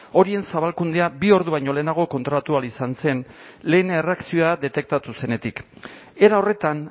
horien zabalkundea bi ordu baino lehenago kontrolatu ahal izan zen lehen erreakzio detektatu zenetik era horretan